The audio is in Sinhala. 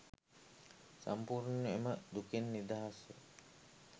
සම්පූර්ණයෙන් එම දුකෙන් නිදහස්ව